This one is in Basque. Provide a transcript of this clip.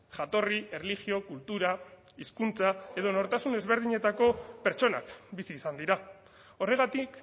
jatorri erlijio kultura hizkuntza edo nortasun ezberdinetako pertsonak bizi izan dira horregatik